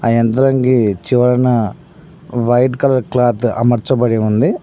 ఆ యంత్రంకీ చివరన వైట్ కలర్ క్లాత్ అమర్చబడి ఉంది.